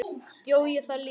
Bjó ég þar líka?